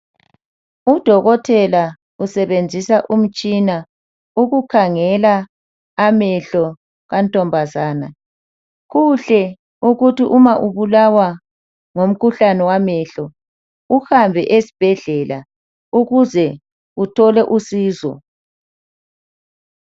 Udokotela usebenzisa umtshina ukukhangela amehlo kantombazana, kuhle ukuba nxa ubulawa ngumkhuhlane wamehlo uhambe esibhedlela ukuze uthole usizo.